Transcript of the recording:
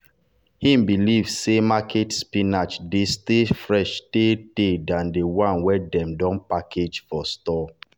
him believe say market spinach dey stay fresh tay tay than the the one dem don package for store.